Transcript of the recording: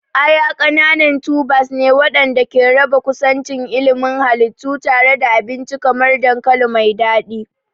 Aya ƙananan tubers ne waɗanda ke raba kusancin ilimin halittu tare da abinci kamar dankali mai daɗi.